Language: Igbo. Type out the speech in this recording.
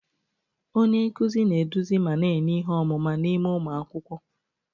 Onye nkuzi na-eduzi ma na-enye ihe ọmụma n'ime ụmụ akwụkwọ.